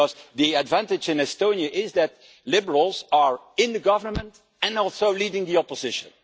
The advantage in Estonia is that liberals are in government and are also leading the opposition.